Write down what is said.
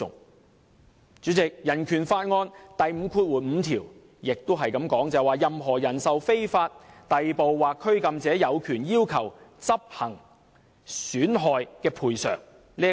代理主席，香港人權法案第五五條亦指出："任何人受非法逮捕或拘禁者，有權要求執行損害賠償。